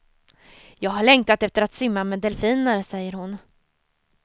Jag har längtat efter att simma med delfiner, säger hon.